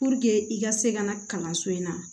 i ka se ka na kalanso in na